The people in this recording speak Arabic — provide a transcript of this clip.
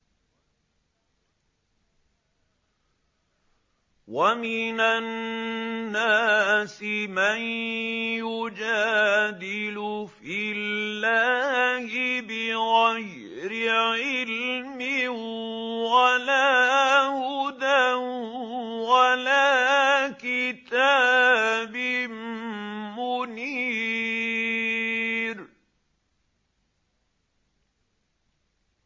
وَمِنَ النَّاسِ مَن يُجَادِلُ فِي اللَّهِ بِغَيْرِ عِلْمٍ وَلَا هُدًى وَلَا كِتَابٍ مُّنِيرٍ